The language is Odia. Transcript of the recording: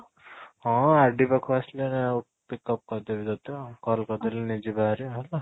ହଁ, RD ପାଖକୁ ଆସିଲେ pick up କରିଦେବି ତୋତେ ଆଉ call କରିଦେଲେ ନେଇଯିବି ହେରି ଆଉ ହେଲା